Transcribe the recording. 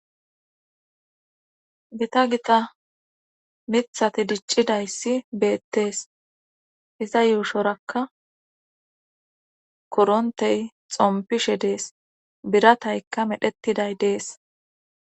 Gita gita mithati diccida issi beettees. Iza yuushorakka korontey xompishe dees. Birataykka medhettiday dees.